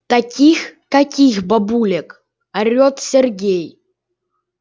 таких каких бабулек орет сергей